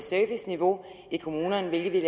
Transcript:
serviceniveau i kommunerne hvilket